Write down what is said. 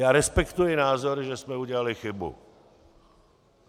Já respektuji názor, že jsme udělali chybu.